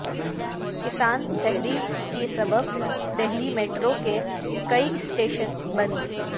کسان تحریک کے سبب دہلی میٹرو کے کئی اسٹیشن بند